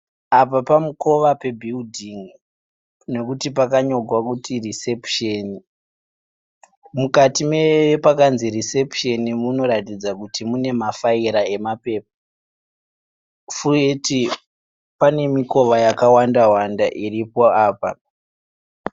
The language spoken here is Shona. Apa pamukova pebhiridhin'i nekuti pakanyorwa kunzi risepusheni. Mukati mepakanzi risepusheni munoratidza kuti mune mafaira emapepa. Futi pane mikova yakawanda wanda iripo apa.